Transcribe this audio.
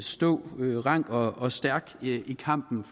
stå rank og og stærk i kampen